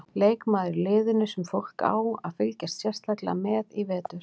Leikmaður í liðinu sem fólk á að fylgjast sérstaklega með í vetur?